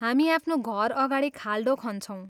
हामी आफ्नो घर अगाडि खाल्डो खन्छौँ।